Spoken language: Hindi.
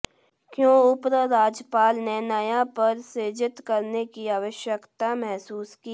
क्यों उपराज्यपाल ने नया पद सृजित करने की आवश्यकता महसूस की